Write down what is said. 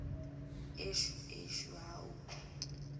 eshu eshu awu